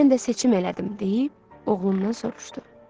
Mən də seçim elədim deyib, oğlundan soruşdu.